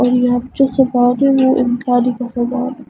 और यहां पे जो सरदार ओ एक गाड़ी का सरदार--